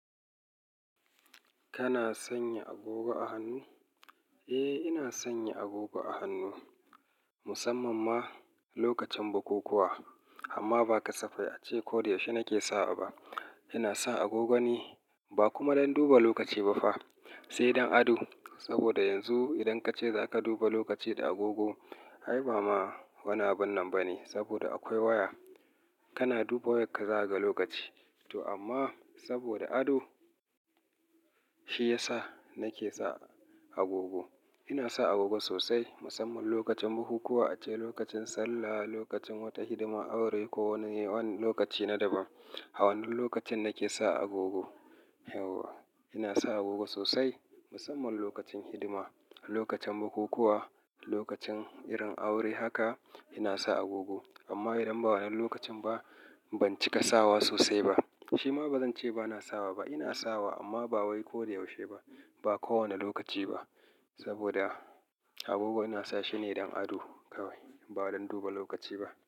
Kana sanya agogo a hannu? Eh, ina sanya agogo a hannu musamman ma lokacin bukukuwa. Amma ba ka safai ace ko da yaushe nake sawa ba. Ina sa agogo ne ba kuma don duba lokaci ba fa, sai don ado. Saboda yanzu idan kace za ka duba lokaci da agogo, ai ba ma wani abin nan ba ne saboda akwai waya. Kana duba wayak ka zakaga lokaci. To amma saboda ado shi ya sa nake sa agogo. Ina sa agogo sosai musamman lokacin bukukuwa, ace lokacin sallah, lokacin wata hidima, aure ko wani lokaci na daban. A wannan lokacin nake sa agogo yauwa. Ina sa agogo sosai musamman lokacin hidima, lokacin bukukuwa, lokacin irin aure haka ina sa agogo. Amma idan ba wannan lokacin ba, ban cika sawa sosai ba. Shima ba zan ce ba na sawa ba. Ina sawa amma ba wai ko da yaushe ba, ba kowane lokaci ba. Saboda agogo ina sa shine don ado kawai, ba don duba lokaci ba.